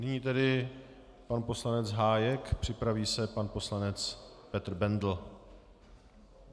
Nyní tedy pan poslanec Hájek, připraví se pan poslanec Petr Bendl.